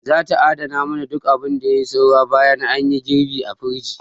Za ta adana mana duk abin da yai saura bayan anyi girɓi a firij.